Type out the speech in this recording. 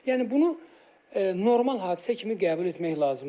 Yəni bunu normal hadisə kimi qəbul etmək lazımdır.